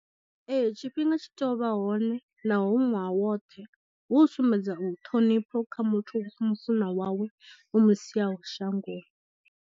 Ee tshifhinga tshi tea u vha hone na ho hu ṅwaha woṱhe hu u sumbedza ṱhonifho kha muthu mufunwa wawe omu siaho shangoni.